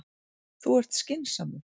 Þú ert skynsamur.